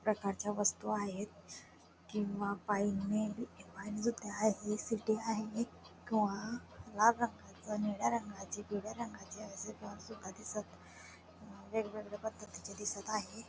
प्रकारच्या वस्तू आहेत किंवा किंवा लाल रंगाची निळ्या रंगाची पिवळ्या रंगाची अशी दिसत वेगवेगळ्या पद्धतीची दिसत आहे.